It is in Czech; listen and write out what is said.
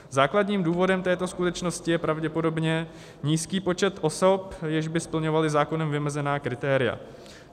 Základním důvodem této skutečnosti je pravděpodobně nízký počet osob, jež by splňovaly zákonem vymezená kritéria.